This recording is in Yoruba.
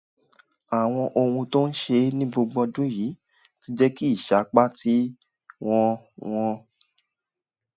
àwọn ohun tó ń ṣe é ní gbogbo ọdún yìí ti jẹ́ kí ìsapá tí wọ́n wọ́n